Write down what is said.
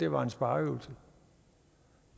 var en spareøvelse